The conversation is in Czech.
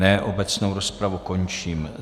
Ne, obecnou rozpravu končím.